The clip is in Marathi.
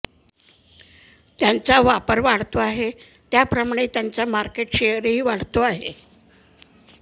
त्यांचा वापर वाढतो आहे त्याप्रमाणे त्यांचा मार्केट शेअरही वाढतो आहे